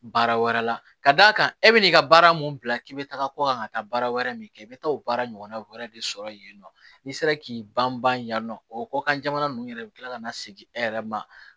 Baara wɛrɛ la ka d'a kan e bɛ n'i ka baara mun bila k'i bɛ taga kɔ kan ka taa baara wɛrɛ min kɛ i bɛ taa o baara ɲɔgɔnna wɛrɛ de sɔrɔ yen nɔ n'i sera k'i banban yan nɔ o kɔ kan jamana ninnu yɛrɛ bɛ kila ka na segin e yɛrɛ ma